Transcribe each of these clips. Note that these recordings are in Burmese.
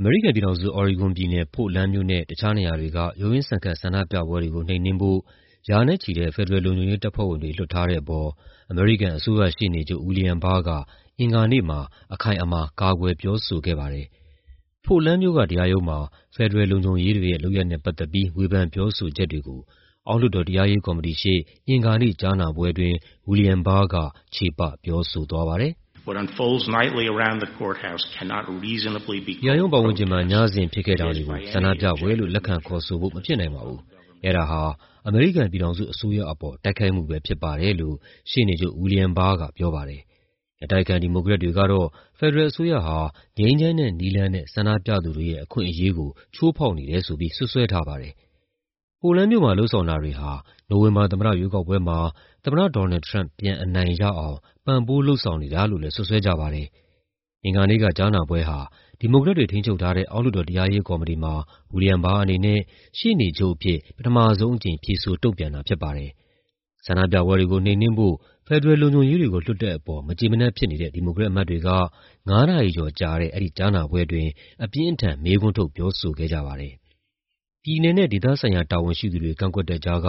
အမေရိကန်ပြည်ထောင်စု၊ အော်ရီဂွန်ပြည်နယ်၊ ပို့တ်လန်းမြို့နဲ့ တခြားနေရာတွေက ရုန်းရင်းဆန်ခတ် ဆန္ဒပြပွဲတွေကို နှိမ်နင်းဖို့ ရာနဲ့ချီတဲ့ ဖက်ဒရယ်လုံခြုံရေးတပ်ဖွဲ့ဝင်တွေ လွှတ်ထားတဲ့အပေါ် အမေရိကန် အစိုးရရှေ့နေချုပ် William Barr က အင်္ဂါနေ့မှာ အခိုင်အမာ ကာကွယ်ပြောဆိုခဲ့ပါတယ်။ ပို့တ်လန်းမြို့က တရားရုံးမှာ ဖက်ဒရယ်လုံခြုံရေးတွေရဲ့ လုပ်ရပ်နဲ့ပတ်သက်ပြီး ဝေဖန် ပြောဆိုချက်တွေကို အောက်လွှတ်တော် တရားရေးကော်မတီရှေ့ အင်္ဂါနေ့ ကြားနာပွဲအတွင်း William Barr က ချေပပြောဆိုသွား ပါတယ်။ "တရားရုံးပတ်ဝန်းကျင်မှာ ညစဉ်ဖြစ်ခဲ့တာတွေကို ဆန္ဒပြပွဲလို့ လက်ခံခေါ်ဆိုဖို့ မဖြစ်နိုင်ပါဘူး။ အဲဒါဟာ အမေရိကန်ပြည်ထောင်စု အစိုးရအပေါ် တိုက်ခိုက်မှုပဲဖြစ်ပါတယ်။" လို့ ရှေ့နေချုပ် William Barr ကပြောပါတယ်။ ငြိမ်းချမ်းတဲ့နည်းလမ်းနဲ့ ဆန္ဒပြသူတွေရဲ့ အခွင့်အရေးကို ချိုးဖောက်နေတယ်ဆိုပြီး အတိုက်အခံ ဒီမိုကရက်တွေက ရှေ့နေချုပ်ကို စွပ်စွဲထားပါတယ်။ ပို့တ်လန်းမြို့မှာ လုပ်ဆောင်တာတွေဟာ နိုဝင်ဘာ သမ္မတရွေးကောက်ပွဲမှာ သမ္မတ ဒေါ်နယ်လ်ဒ် ထရမ့်ပ် ပြန်အနိုင်ရအောင် ပံ့ပိုးလုပ်ဆောင်နေတာလို့လည်း စွပ်စွဲကြပါတယ်။ အင်္ဂါနေ့ကကြားနာပွဲဟာ ဒီမိုကရက်တွေ ထိန်းချုပ်ထားတဲ့ အောက်လွှတ်တော် တရားရေးကော်မတီမှာ William Barr အနေနဲ့ ရှေ့နေချုပ်အဖြစ် ပထမဆုံးအကြိမ် ဖြေဆို တုံ့ပြန်တာဖြစ်ပါတယ်။ ဆန္ဒပြပွဲတွေကိုနှိမ်နင်းဖို့ ဖက်ဒရယ်လုံခြုံရေးတွေကို လွှတ်တဲ့အပေါ် မကျေမနပ်ဖြစ်နေတဲ့ ဒီမိုကရက်အမတ်တွေက ၅ နာရီကျော်ကြာတဲ့ အဲဒီကြားနာပွဲအတွင်း အပြင်းအထန် မေးခွန်းထုတ် ပြောဆိုခဲ့ကြပါတယ်။ ပြည်နယ်နဲ့ဒေသဆိုင်ရာ တာဝန်ရှိသူတွေ ကန့်ကွက်တဲ့ကြားက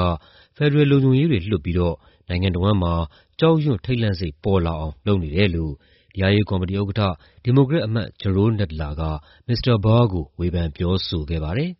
ဖက်ဒရယ်လုံခြုံရေးတွေ လွှတ်ပြီးတော့ နိုင်ငံတဝန်းမှာ ကြောက်ရွံ့ထိတ်လန့်စိတ်ပေါ်လာအောင် လုပ်နေတယ်လို့ တရားရေးကော်မတီဥက္ကဋ္ဌ ဒီမိုကရက်အမတ် Jerrold Nadler က မစ္စတာ Barr ကို ဝေဖန်ပြောဆိုခဲ့ပါတယ်